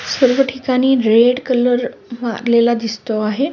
सर्व ठिकाणी red colour लागलेला दिसतो आहे.